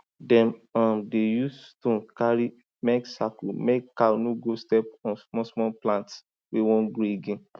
dem um dey use stone carry mek circle mek cow no go step on smallsmall plants wey wan grow again